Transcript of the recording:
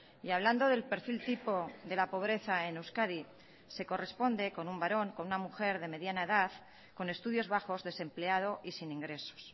y hablando del perfil tipo de la pobreza en euskadi se corresponde con un varón con una mujer de mediana edad con estudios bajos desempleado y sin ingresos